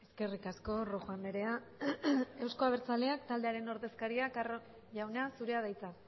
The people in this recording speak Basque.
eskerrik asko rojo andrea euzko abertzaleak taldearen ordezkaria carro jauna zurea da hitza